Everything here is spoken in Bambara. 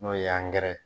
N'o ye ye